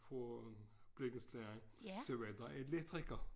Fra blikkenslageren så var der elektriker